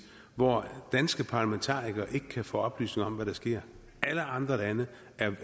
hvor danske parlamentarikere ikke kan få oplysninger om hvad der sker alle andre lande